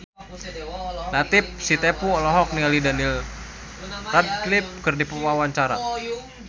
Latief Sitepu olohok ningali Daniel Radcliffe keur diwawancara